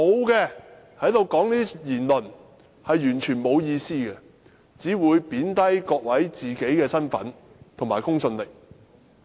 如果沒有證據，是完全沒有意思的，只會貶低他們的身份和公信力。